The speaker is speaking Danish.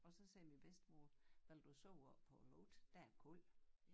Og så sagde min bedstemor vil du sove oppe på æ loft der er koldt